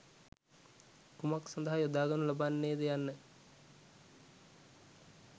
කුමක් සඳහා යොදා ගනු ලබන්නේ ද යන්න